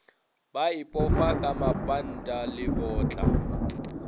ba ipofa ka mapantana lebotla